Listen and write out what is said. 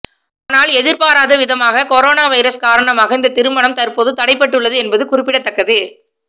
ஆனால் எதிர்பாராதவிதமாக corona virus காரணமாக இந்த திருமணம் தற்போது தடைபட்டுள்ளது என்பது குறிப்பிடத்தக்கது